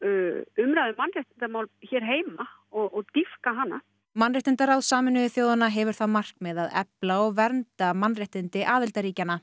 umræðu um mannréttindamál hér heima og dýpka hana mannréttindaráð Sameinuðu þjóðanna hefur það markmið að efla og vernda mannréttindi aðildarríkjanna